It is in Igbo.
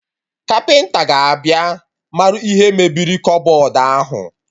Kapịnta ga-abịa marụ ihe mebiri kọbọd ahụ